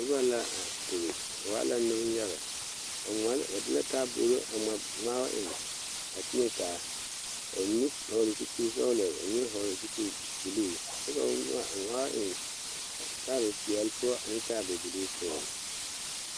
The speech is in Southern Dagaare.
Nobɔ la a ire ba waa la neŋ yaga ba ngmaala ba de la taaboore a bgma ngmaabo eŋ a teɛ taa ka ba mine vɔgle zupil sɔglɔ ka ba mine vɔgle zupil bluu kyɛ ba ngma ngmaao eŋ taabo peɛle poɔ ane taabo bluu poɔŋ.